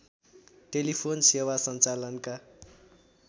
telephone सेवा सञ्चालनका